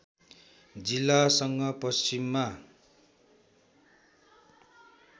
जिल्लासँग पश्चिममा